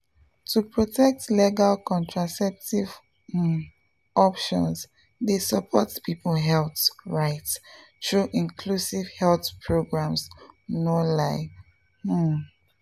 to protect legal contraceptive um options dey support people health rights through inclusive health programs no lie. um